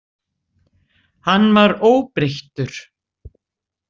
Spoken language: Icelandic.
Hann var óbreyttur?